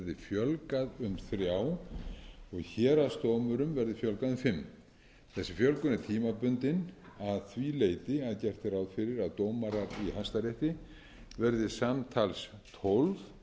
um þrjá og héraðsdómurum verði fjölgað um fimm þessi fjölgun er tímabundin að því leyti að gert er ráð fyrir að dómarar í hæstarétti verði samtals tólf